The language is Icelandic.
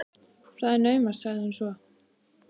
Það er naumast sagði hún svo.